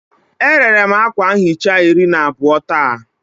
E rere m akwa nhicha iri na abụọ taa